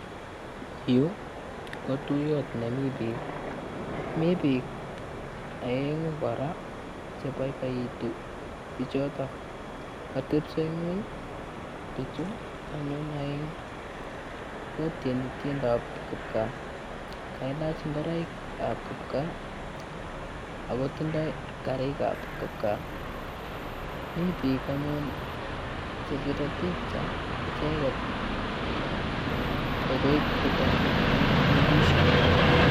Yu ko tuiyot nemi bik. Mi bik aeng'u kora chebaibaitu bichoto. Katebiso ing'uny bichu anyun aeng'u kotiendos tienwagikap klipkaa. Kailach ngureikab kipkaa akotindoi karikap kipkaa. Mi bik anyun chepire pikcha icheket, takoi kotagu icheket eng'television